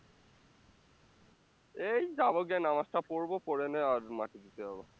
এই যাবো, গিয়ে নামাজটা পড়বো পড়ে নিয়ে আর মাটি দিতে যাবো